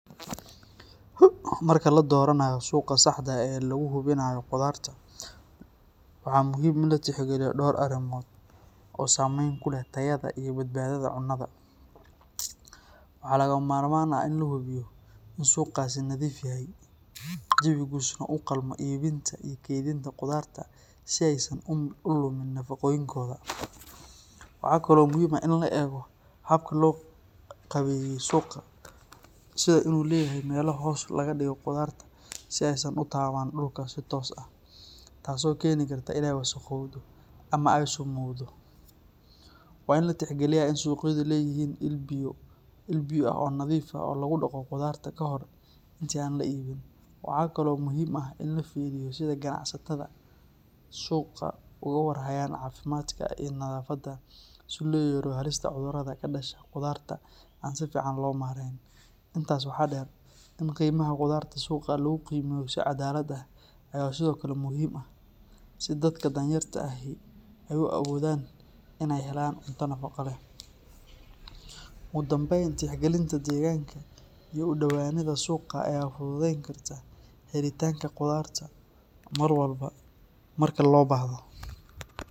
Marka ladoranayo suqa sahde ee laguhubinayo qudarta, waxa muxiim in latixgaliyo talaboyin oo sameyn kuleh tayada iyo badbadada cunada, wa lagamarmar ah in lahubiyo in suqaasi nafiif yahay jawigisuna ugalma ibinta iyo kedinta qudarta si ay san ulumin nafagoyinka, waxa kalo muxiim ah in laego gawee suqaa, sidha inu leyahay mela hoos ah oo lagadigo qudarta si ay san utaban dulka si toos ah, taaso keni karto inay wasaqowdo ama ay sumowdo, wa in latihgaliya in suqyada leyihin il biyo ah oo nadif ah oo lagudago qudarta inta aan laibin, waxa kalo muxiim ah in lafiriyo sida qanacsatada suqa ogu war haya cafimadka iyo nadafada si loyareyo halista cudurada kadasha qudarta aan si fican loomareyn, intas waxa deer in qimaha qudarta suga lgugimeyo si cadalad ah aya Sidhokale muxiim ah, dadka daan yarta ah ay kubilaban inay helan cunta nafago leh, ogudambeyn tihgalibta degankaiyo udowanida suqaa oo fududeynkarta helitanka qudarta marwalba marka lobahdo.